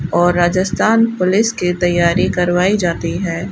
और राजस्थान पुलिस की तैयारी करवाई जाती है।